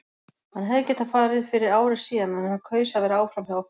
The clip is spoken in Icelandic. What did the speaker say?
Hann hefði getað farið fyrir ári síðan en hann kaus að vera áfram hjá okkur.